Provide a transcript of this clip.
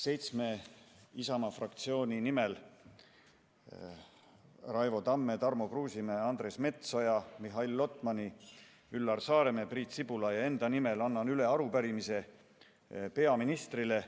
Seitsme Isamaa fraktsiooni liikme nimel – Raivo Tamme, Tarmo Kruusimäe, Andres Metsoja, Mihhail Lotmani, Üllar Saaremäe, Priit Sibula ja enda nimel – annan üle arupärimise peaministrile.